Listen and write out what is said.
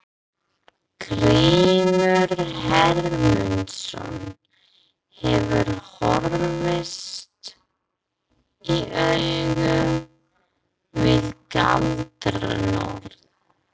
Grímur Hermundsson hefur horfst í augu við galdranorn.